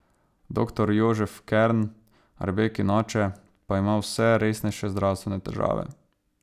Doktor Jožef Kern, Rebekin oče, pa ima vse resnejše zdravstvene težave.